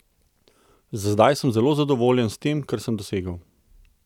Za zdaj sem zelo zadovoljen s tem, kar sem dosegel.